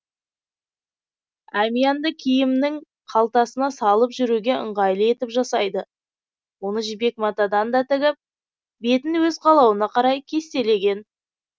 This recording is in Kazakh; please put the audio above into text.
әмиянды киімнің қалтасына салып жүруге ыңғайлы етіп жасайды оны жібек матадан да тігіп бетін өз қалауына қарай кестелеген